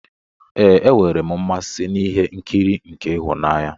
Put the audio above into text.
Ee, enwere m mmasị n'ihe nkiri nke ịhụnanya.